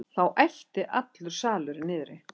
Þá æpti allur salurinn niðri.